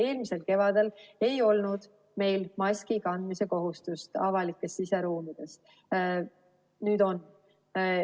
Eelmisel kevadel ei olnud meil maski kandmise kohustust avalikes siseruumides, nüüd on.